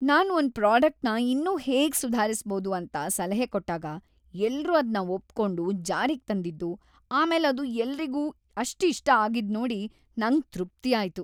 ನಾನು ಒಂದ್ ಪ್ರಾಡಕ್ಟ್‌ನ ಇನ್ನೂ ಹೇಗ್‌ ಸುಧಾರಿಸ್ಬೋದು ಅಂತ ಸಲಹೆ ಕೊಟ್ಟಾಗ ಎಲ್ರೂ ಅದ್ನ ಒಪ್ಕೊಂಡು ಜಾರಿಗ್‌ ತಂದಿದ್ದು, ಆಮೇಲ್‌ ಅದು ಎಲ್ರಿಗೂ ಅಷ್ಟ್‌ ಇಷ್ಟ ಆಗಿದ್ನೋಡಿ ನಂಗ್‌ ತೃಪ್ತಿಯಾಯ್ತು.